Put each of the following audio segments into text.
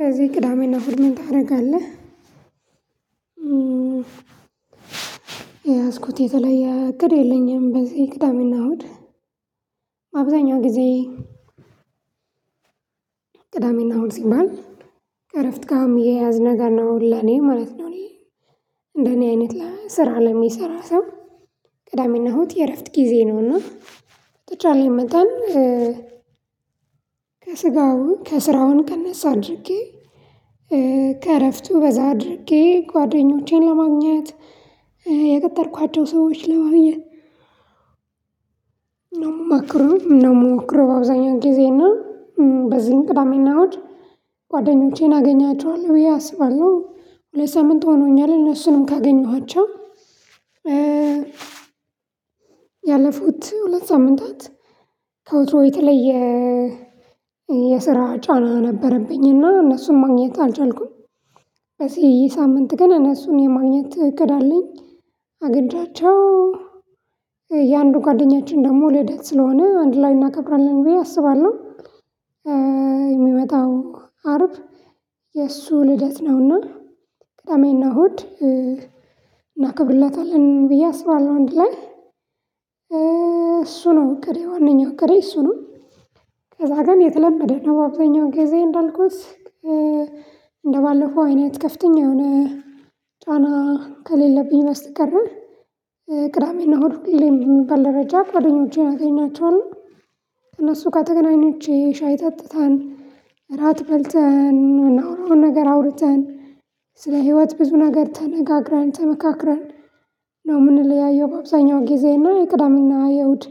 ከዚህ ቅዳሜና እሁድ ምን ታደርጋለህ? የያዝኩት የተለየ እቅድ የለኝም። በዚህ ቅዳሜና እሁድ አብዛኛው ጊዜ ቅዳሜና እሁድ ሲባል ከእረፍት ጋር የሚያያዝ ነገር ነው ለእኔ ማለት ነው። እኔ እንደኔ አይነት ስራ ለሚሰራ ሰው። ቅዳሜና እሁድ የእረፍት ጊዜ ነውና በተቻለኝ መጠን ከስጋው ከስራውን ቀነስ አድርጌ ከእረፍቱ በዛ አድርጌ ጓደኞቼን ለማግኘት የቀጠርኳቸው ሰዎች ለማግኘት ነው የምሞክረው ነው የምሞክረው። በአብዛኛው ጊዜ እና በዚህ ቅዳሜ እና እሁድ ጓደኞቼን አገኛቸዋለሁ ብዬ አስባለሁ። ሁለት ሳምንት ሆኖኛል እነሱንም ካገኘኋቸው ያለፉት ሁለት ሳምንታት ከወትሮ የተለየ የስራ ጫና ነበረብኝና እነሱን ማግኘት አልቻልኩም። በዚህ ሳምንት ገና እነሱን የማግኘት ትክክል አለኝ አግኝቻቸው የአንዱ ጓደኛችን ደግሞ ልደት ስለሆነ አንድ ላይ እናከብራለን ብዬ አስባለሁ። የሚመጣው አርብ የእሱ ልደት ነውና ቅዳሜ እና እሁድ እሁድ እናከብርለታለን ብዬ አስባለሁ አንድ ላይ እሱ ነው እቅዴ ዋነኛው እቅዴ እሱ ነው። ከዛ ግን የተለመደ ነው በአብዛኛው ጊዜ እንዳልኩት እንደባለፈው አይነት ከፍተኛ የሆነ ጫና ከሌለብኝ በስተቀር ቅዳሜና ሁሌም በሚባል ደረጃ ጓደኞቼን አገኛቸዋለሁ። ከእነሱ ጋር ተገናኝቼ ሻይ ጠጥተን እራት በልተን የምናወራውን ነገር አውርተን ስለ ህይወት ብዙ ነገር ተነጋግረን ተመካክረን ነው የምንለያየው። በአብዛኛው ጊዜና የቅዳሜና የእሁድ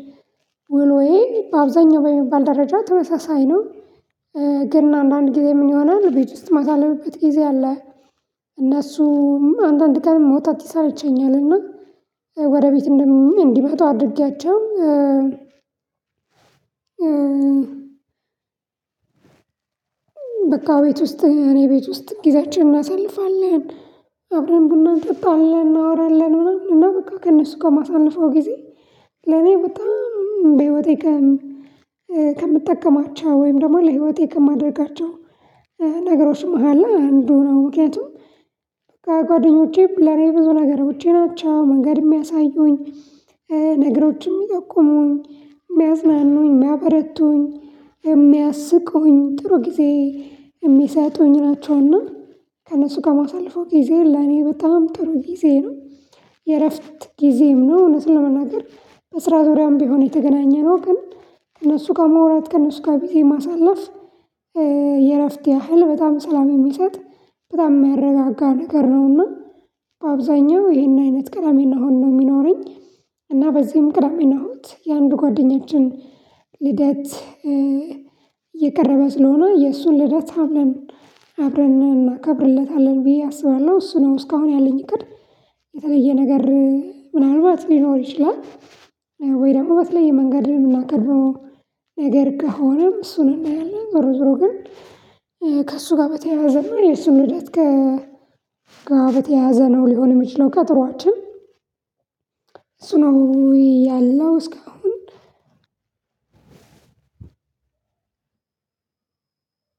ውሎዬ አብዛኛው በሚባል ደረጃ ተመሳሳይ ነው። ግን አንዳንድ ጊዜ ምን ይሆናል ቤት ውስጥ ማሳልፍበት ጊዜ አለ። እነሱም አንዳንድ ቀን መውጣት ይሰለቸኛልና ወደ ቤት እንዲመጡ አድርጌያቸው። በቃ ቤት ውስጥ እኔ ቤት ውስጥ ጊዜያችንን እናሳልፋለን አብረን ቡና እንጠጣለን እናወራለን ምናምን እና በቃ ከእነሱ ጋር ማሳልፈው ጊዜ። ለኔ በጣም በህይወቴ ከምጠቀማቸው ወይም ደግሞ ለህይወቴ ከማድረጋቸው ነገሮች አለ አንዱ ነው ምክንያቱም። ጓደኞቼም ለኔ ብዙ ነገሮቼ ናቸው መንገድ የሚያሳዩኝ ነገሮችን የሚያጠቁሙኝ የሚያዝናኑኝ የሚያበረቱኝ። የሚያስቁኝ ጥሩ ጊዜ የሚሰጡኝ ናቸውና ከእነሱ ጋር ማሳልፈው ጊዜ ለኔ በጣም ጥሩ ጊዜ ነው። የእረፍት ጊዜም ነው እውነት ለመናገር በስራ ዙሪያም ቢሆን የተገናኘነው ግን ከእነሱ ጋር መውራት ከእነሱ ጋር ጊዜ ማሳለፍ የእረፍት ያህል በጣም ሰላም የሚሰጥ በጣም የሚያረጋጋ ነገር ነውና። አብዛኛው ይሄን አይነት ቅዳሜ እሁድ ነው የሚኖረኝ። እና በዚህም ቅዳሜና እሁድ የአንዱ ጓደኛችን ልደት የቀረበ ስለሆነ የእሱን ልደት አብረን እናከብርለታለን ብዬ አስባለሁ እሱ ነው እስካሁን ያለኝ እቅድ። የተለየ ነገር ምናልባት ሊኖር ይችላል። ወይ ደግሞ በተለየ መንገድ የምናከብረው ነገር ከሆነም እሱን እናያለን። ዞሮ ዞሮ ግን ከእሱ ጋር በተያያዘ ነው የሱን ልደት ከ ጋር በተያያዘ ነው ሊሆን የሚችለው ቆጦራችን። እሱ ነው ያለው እስካሁን።